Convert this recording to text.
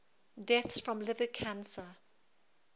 deaths from liver cancer